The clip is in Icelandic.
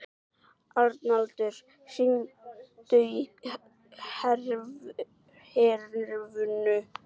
Arnaldur, hringdu í Hrefnu.